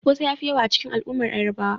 Kosai ya fi yawa a cikin al'ummar Yarbawa.